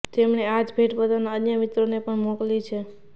તેમણે આજ ભેટ પોતાના અન્ય મિત્રોને પણ મોકલી છે